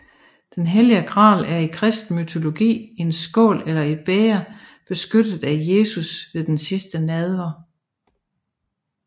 Den hellige gral er i kristen mytologi en skål eller et bæger benyttet af Jesus ved den sidste nadver